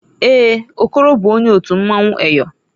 Èè, Okoro bụ onye otu mmanwụ Eyọ.